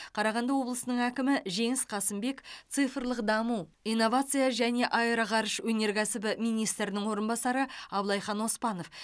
қарағанды облысының әкімі жеңіс қасымбек цифрлық даму инновация және аэроғарыш өнеркәсібі министрінің орынбасары аблайхан оспанов